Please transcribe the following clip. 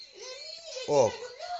ок